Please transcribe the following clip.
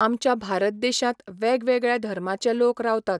आमच्या भारत देशांत वेगवेगळ्या धर्माचे लोक रावतात.